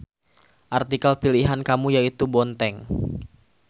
Artikel pilihan kamu yaitu Bonteng.